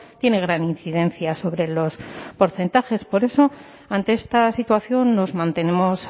tiene gran incidencia sobre los porcentajes por eso ante esta situación nos mantenemos